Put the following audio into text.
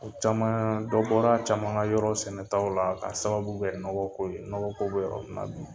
O caman dɔw bɔra a caman ka yɔrɔ sɛnɛtaw la k'a sababu bɛ nɔgɔko ye nɔgɔko bɛ